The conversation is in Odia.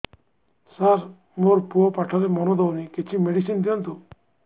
ସାର ମୋର ପୁଅ ପାଠରେ ମନ ଦଉନି କିଛି ମେଡିସିନ ଦିଅନ୍ତୁ